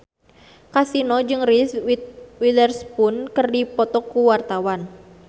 Kasino jeung Reese Witherspoon keur dipoto ku wartawan